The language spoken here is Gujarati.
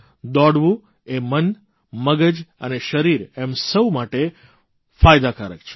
દોડવું એ મન મગજ અને શરીર એમ સૌ માટે ફાયદાકારક છે